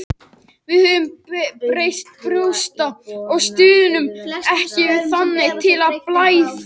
Við höfum breyst í grjótharða stuðningsmenn þannig að tekið er eftir bæði heima og heiman.